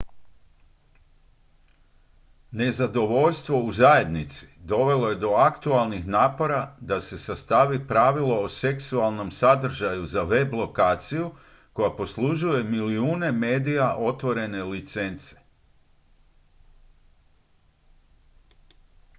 nezadovoljstvo u zajednici dovelo je do aktualnih napora da se sastavi pravilo o seksualnom sadržaju za web-lokaciju koja poslužuje milijune medija otvorene licence